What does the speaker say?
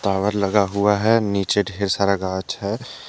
Tower लगा हुआ है नीचे ढेर सारा घाच है ।